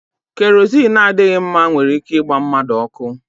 Kerozini adịghị mma nwere ike ịgba mmadụ ọkụ.